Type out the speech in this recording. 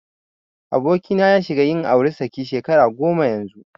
Abokina ya shiga yin auri saki shekara goma yanzu.